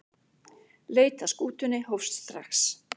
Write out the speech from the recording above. Leit að skútunni hófst strax.